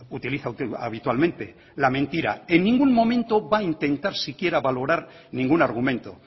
utiliza habitualmente la mentira en ningún momento va a intentar siquiera valorar ningún argumento